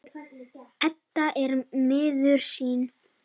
Edda er miður sín.